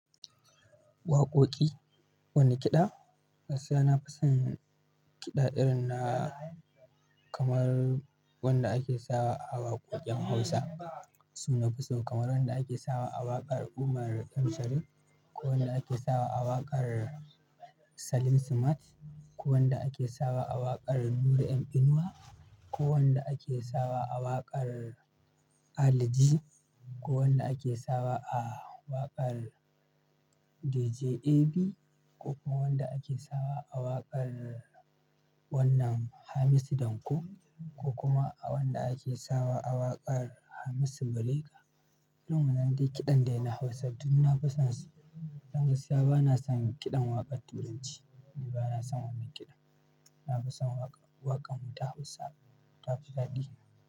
Waƙoƙi, wane kiɗa? Gaskiya na fi son kiɗa irin na kamar wanda ake sawa a waƙoƙin Hausa. Su na fi so, kamar wanda ake sawa a waƙar Umar M. Sharif ko wanda ake sawa a waƙar Salim Smart ko wanda ake sawa a waƙar Nura M. Inuwa, ko wanda ake sawa a waƙar Ali J ko wanda ake sawa a waƙar D.J. A.B ko kuma wanda ake sawa a waƙar wannan Hamisu Danko ko kuma a wanda ake sawa a waƙar Hamisu Brega. Irin wannan dai kiɗan da na Hausa duk na fasonsu. Dan gaskiya bana son kiɗan waƙar Turanci. Ni bana son wannan kiɗan. Na fi son waƙa-waƙan mu ta Hausa. Ta fi daɗi.